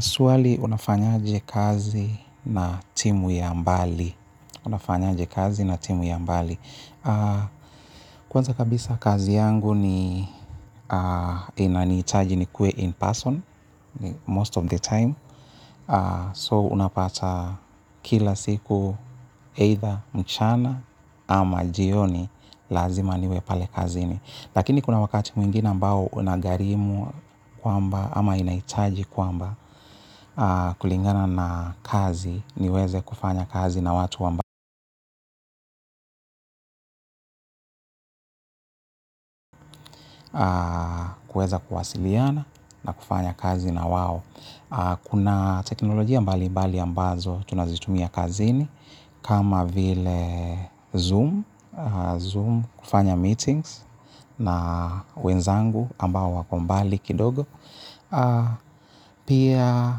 Swali, unafanyaje kazi na timu ya mbali? Unafanyaje kazi na timu ya mbali? Kwanza kabisa kazi yangu ni, inanihitaji nikuwe in person, most of the time. So, unapata kila siku either mchana ama jioni lazima niwe pale kazini. Lakini kuna wakati mwingine ambao unagharimu kwamba ama inahitaji kwamba, kulingana na kazi, niweze kufanya kazi na watu kuweza kuwasiliana na kufanya kazi na wao. Kuna teknolojia mbali mbali ambazo tunazitumia kazini kama vile Zoom, Zoom kufanya meetings na wenzangu ambao wako mbali kidogo. Pia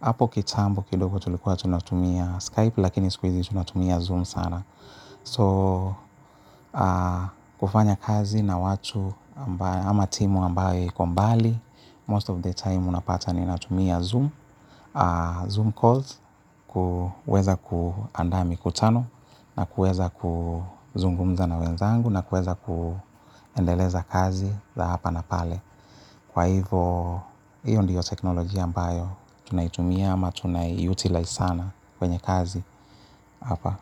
hapo kitambo kidogo tulikuwa tunatumia Skype lakini siku hizi tunatumia Zoom sana. So, kufanya kazi na watu ama timu ambayo iko mbali, most of the time unapata ninatumia Zoom, Zoom calls, kuweza kuandaa mikutano na kuweza kuzungumza na wenzangu na kuweza kuendeleza kazi za hapa na pale. Kwa hivo, hiyo ndiyo teknolojia ambayo tunaitumia ama tunai-utilize sana kwenye kazi hapa.